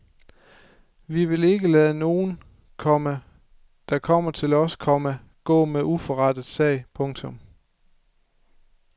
Vi vil ikke lade nogen, komma der kommer til os, komma gå med uforrettet sag. punktum